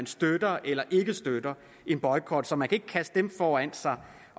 støtte eller ikke støtte af boykot så man kan ikke kaste dem foran sig